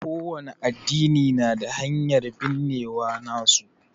ƙo wani addini na da hanyar binnewa nasu.